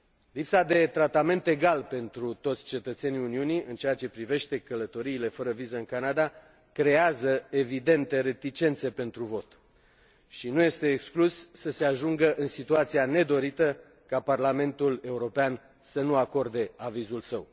Lipsa unui tratament egal pentru toți cetățenii Uniunii în ceea ce privește călătoriile fără viză în Canada creează evidente reticențe pentru vot și nu este exclus să se ajungă în situația nedorită ca Parlamentul European să nu acorde avizul său.